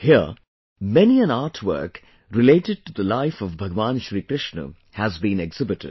Here, many an artwork related to the life of Bhagwan Shrikrishna has been exhibited